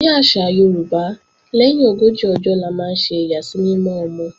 Ní àṣà Yorùbá, lẹ́yìn ogójì ọjọ́ la máa ń ṣe ìyàsímímọ́ ọmọ